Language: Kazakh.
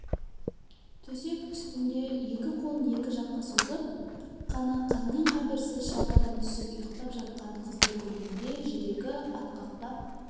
төсек үстінде екі қолын екі жаққа созып қана қаннен-қаперсіз шалқадан түсіп ұйықтап жатқан қызды көргенде жүрегі атқақтап